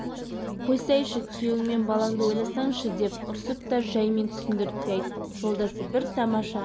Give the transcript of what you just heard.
қойсайшы күйеуің мен балаңды ойласаңшы деп ұрысып та жаймен түсіндіріп те айттым жолдасы бір тамаша